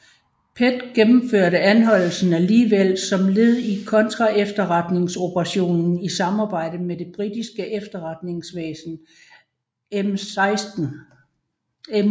PET gennemførte anholdelsen alligevel som led i kontraefterretningsoperationen i samarbejde med det britiske efterretningsvæsen MI6